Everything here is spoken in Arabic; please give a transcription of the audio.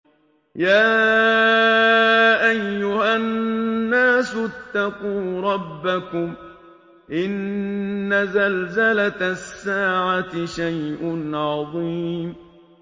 يَا أَيُّهَا النَّاسُ اتَّقُوا رَبَّكُمْ ۚ إِنَّ زَلْزَلَةَ السَّاعَةِ شَيْءٌ عَظِيمٌ